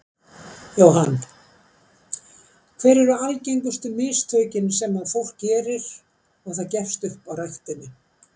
Jóhann: Hver eru algengustu mistökin sem að fólk gerir og það gefst upp á ræktinni?